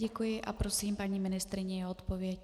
Děkuji a prosím paní ministryni o odpověď.